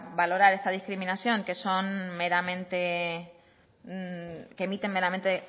valorar esta discriminación que emiten meramente